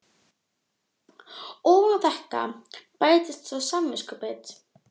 Ofan á þetta bættist svo samviskubitið.